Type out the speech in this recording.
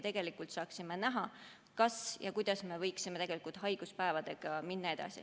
Siis me saaksime näha, kuidas me võiksime tegelikult haiguspäevadega edasi minna.